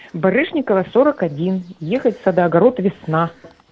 барышникова сорок один ехать садоогород весна